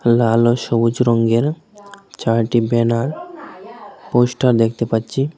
লাল ও সবুজ রঙ্গের চারটি ব্যানার পোস্টার দেখতে পাচ্ছি।